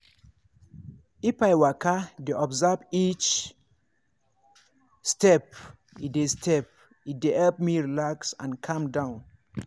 if i waka dey observe each step e dey step e dey help me relax and calm down.